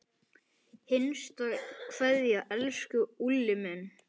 HINSTA KVEÐJA Elsku Úlli minn.